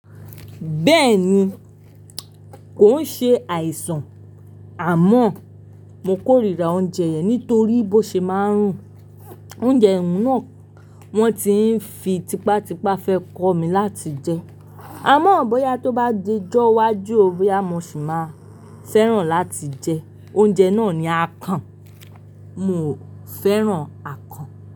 Bẹ́ẹ̀ni, kò ń ṣe àìsàn àmọ́ mo kórìíra oúnjẹ yẹn nítorí bó ṣe máa ń rù. Oúnjẹ oun náà wọ́n ti ń fi tipátipá fẹ́ kọ́ mi láti jẹ. Àmọ́ bóyá tó bá dijọ́ iwájú, boya mo ṣì máa fẹ́ràn láti jẹ oúnjẹ náà ni akàn. Mo fẹ́ràn akàn.